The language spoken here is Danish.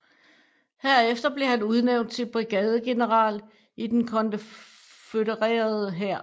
Herefter blev han udnævnt til brigadegeneral i den konfødererede hær